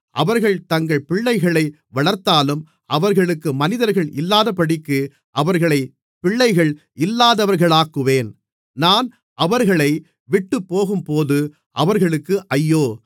அவர்கள் தங்கள் பிள்ளைகளை வளர்த்தாலும் அவர்களுக்கு மனிதர்கள் இல்லாதபடிக்கு அவர்களைப் பிள்ளைகள் இல்லாதவர்களாக்குவேன் நான் அவர்களை விட்டுப்போகும்போது அவர்களுக்கு ஐயோ